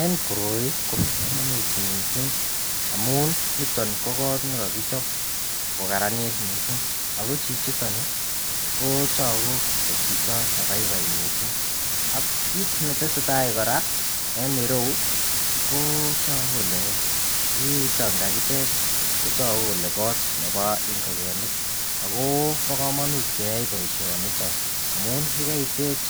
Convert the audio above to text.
En koroi Koba kamanut mising amun niton ko kot nikakichop kokararanit mising ako Chichiton Kotaku kochito nebaibai mising aknkit netesetai koraa en ireu Kotaku Kole kiiton kakitech kotagu ko kot Nebo ingokenik akobo kamanut keyai baishoniton amun yekaitech